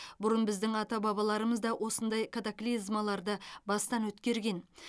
бұрын біздің ата бабаларымыз да осындай катаклизмаларды бастан өткерген